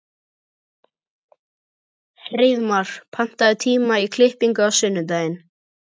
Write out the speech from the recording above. Hreiðmar, pantaðu tíma í klippingu á sunnudaginn.